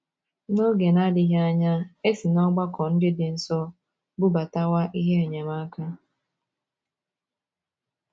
N’oge na - adịghị anya, e si n’ọgbakọ ndị dị nso bubatawa ihe enyemaka.